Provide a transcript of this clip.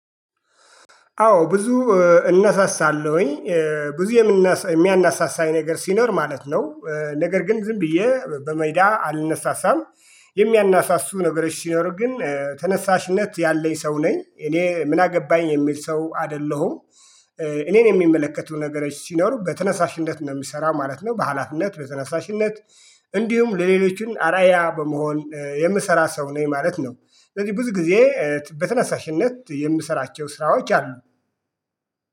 አዎ ብዙ እናሳሳለሁኝ ብዙ የሚያናሳሳኝ ነገር ሲኖር ማለት ነው ነገር ግን ዝም ብዬ በሜዳ አልነሳሳም። የሚያናሳሱ ነገሮች ሲኖሩ ግን ተነሳሽነት ያለኝ ሰው ነኝ እኔ ምን አገባኝ የሚል ሰው አይደለሁም። እኔን የሚመለከቱ ነገሮች ሲኖሩ በተነሳሽነት ነው ምሰራው ማለት ነው በአላፊነት በተነሳሽነት እንዲሁም ለሌሎችን አርዓያ በመሆን የምሰራ ሰው ነኝ ማለት ነው። ስለዚህ ብዙ ጊዜ በተነሳሽነት የምሰራቸው ስራዎች አሉ